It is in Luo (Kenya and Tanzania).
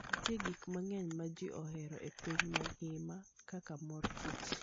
Nitie gik mang'eny ma ji ohero e piny mangima kaka mor kich.